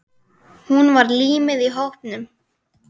Hún var límið í hópnum.